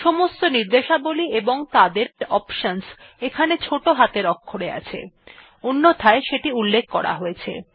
সমস্ত র্নিদেশাবলী এবং তাদের অপশনস এখানে ছোট হাতের অক্ষরে আছে অন্যথায় সেটি উল্লেখ করা আছে